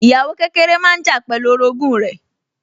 Ìyàwó kékeré máa ń jà pẹ̀lú orogún rẹ̀